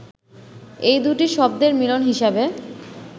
এই দুটি শব্দর মিলন হিসাবে